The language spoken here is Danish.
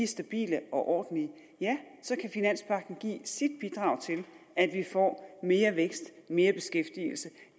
stabile og ordentlige så kan finanspagten give sit bidrag til at vi får mere vækst mere beskæftigelse